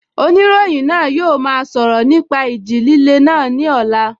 Oníròyìn náà yóò máa sọ̀rọ̀ nípa ìjì líle náà ní ọ̀la